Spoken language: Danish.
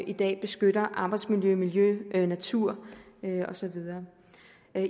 i dag beskytter arbejdsmiljø miljø natur og så videre